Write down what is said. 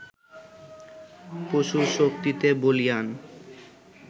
পশুশক্তিতে বলীয়ান